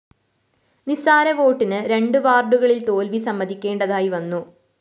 നിസ്സാര വോട്ടിന് രണ്ടു വാര്‍ഡുകളില്‍ തോല്‍വി സമ്മതിക്കേണ്ടതായി വന്നു